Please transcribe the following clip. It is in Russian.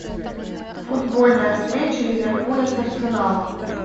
футбольная встреча ливерпуля с арсеналом